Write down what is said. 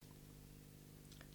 TV 2